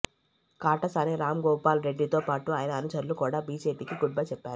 కాటసాని రాంభూపాల్ రెడ్డితో పాటు ఆయన అనుచరులు కూడ బిజెపికి గుడ్బై చెప్పారు